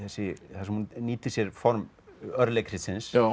þar sem hún nýtir sér form